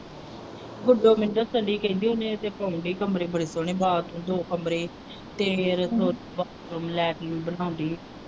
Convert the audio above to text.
ਵੱਡੇ ਬੰਦੇ ਹੈ ਕਹਿੰਦੇ ਉਹਨੂੰ ਪੈਣ ਦੇ ਕਮਰੇ ਬੜੇ ਸੋਹਣੇ bathroom ਦੋ ਕਮਰੇ ਤੇ altering ਬਨਾਉਣ ਦੀ।